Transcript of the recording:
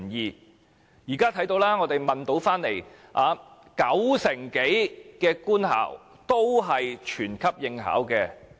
我們調查得來的結果是，九成多官校均全級應考。